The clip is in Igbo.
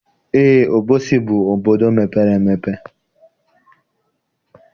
Eé, Obosi bụ obodo mepere emepe